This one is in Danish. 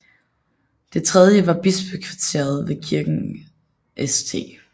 Det tredje var bispekvarteret ved kirken St